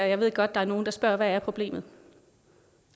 jeg ved godt der er nogle der spørger hvad problemet